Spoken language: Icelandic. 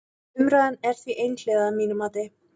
Umræðan er því einhliða að mínu mati.